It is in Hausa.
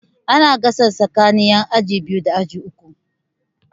Ana gasa tsakanin yan aji biyu da aji uku.